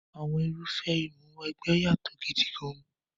Àwọn irúfẹ́ Ìmúw'ẹgbẹ́ yàtọ̀ gidi gan-an.